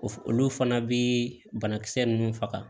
O f olu fana bi banakisɛ nunnu faga